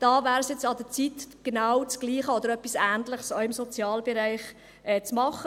Da wäre es jetzt an der Zeit, genau das Gleiche oder etwas Ähnliches auch im Sozialbereich zu machen.